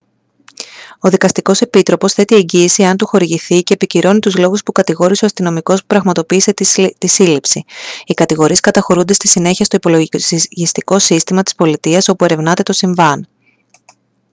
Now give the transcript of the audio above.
ο δικαστικός επίτροπος θέτει εγγύηση εάν του χορηγηθεί και επικυρώνει τους λόγους που κατηγόρησε ο αστυνομικός που πραγματοποίησε τη σύλληψη οι κατηγορίες καταχωρούνται στη συνέχεια στο υπολογιστικό σύστημα της πολιτείας όπου ερευνάται το συμβάν